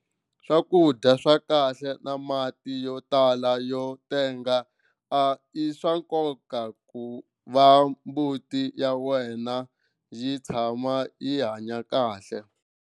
Swakudya swa kahle na mati yo tala yo tenga i swa nkoka ku va mbuti ya wena yi tshama yi hanya kahle.